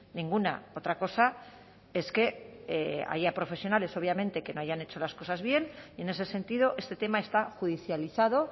ninguna otra cosa es que haya profesionales obviamente que no hayan hecho las cosas bien y en ese sentido este tema está judicializado